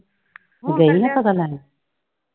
ਤੂੰ ਗਈ ਨਈਂ ਪਤਾ ਲੈਣ?